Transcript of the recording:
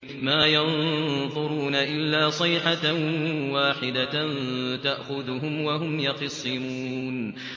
مَا يَنظُرُونَ إِلَّا صَيْحَةً وَاحِدَةً تَأْخُذُهُمْ وَهُمْ يَخِصِّمُونَ